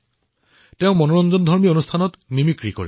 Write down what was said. মই মনোৰঞ্জনৰ বিভিন্ন কাৰ্যত মিমিক্ৰি কৰো